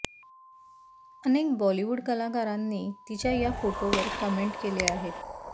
अनेक बॉलिवूड कलाकारांनी तिच्या या फोटोंवर कमेंट केल्या आहेत